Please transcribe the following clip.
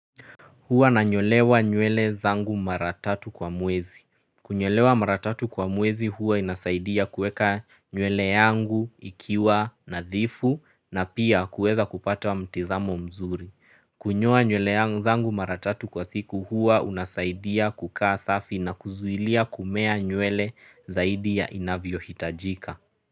Huwa nanyolewa nywele zangu mara tatu kwa mwezi. Kunyolewa mara tatu kwa mwezi huwa inasaidia kuweka nywele yangu ikiwa nadhifu na pia kuweza kupata mtizamo mzuri. Kunyoa nywele zangu mara tatu kwa siku huwa unasaidia kukaa safi na kuzuilia kumea nywele zaidi ya inavyohitajika.